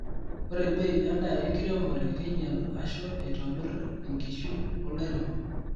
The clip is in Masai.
Ore bei endaa enkiremore keinyal ashu eitobir enkishui olairemok.